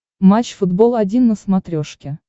матч футбол один на смотрешке